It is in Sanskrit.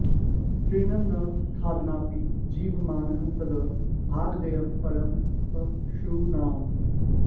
तृणं न खादन्नपि जीवमानः तद् भागधेयं परमं पषूणाम्